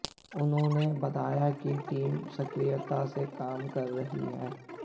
उन्होंने बताया कि टीमें सक्रियता से काम कर रही है